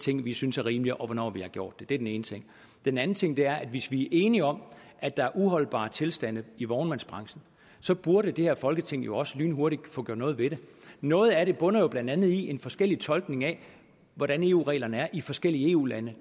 ting vi synes er rimelige og hvornår vi har gjort det det er den ene ting den anden ting er at hvis vi er enige om at der er uholdbare tilstande i vognmandsbranchen så burde det her folketing jo også lynhurtigt få gjort noget ved det noget af det bunder blandt andet i en forskellig tolkning af hvordan eu reglerne er i forskellige eu lande